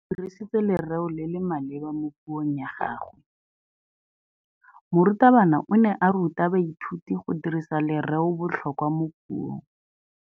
O dirisitse lerêo le le maleba mo puông ya gagwe. Morutabana o ne a ruta baithuti go dirisa lêrêôbotlhôkwa mo puong.